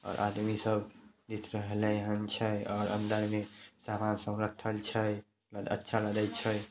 और आदमी सब दिख रहलन छै और अंदर में सब समान रखल छए अच्छा लागए छए।